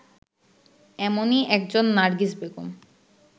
এমনই একজন নার্গিস বেগম